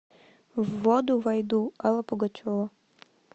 в воду войду алла пугачева